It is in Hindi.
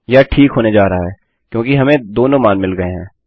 यह ठीक होने जा रहा है क्योंकि हमें दोनों मान मिल गये हैं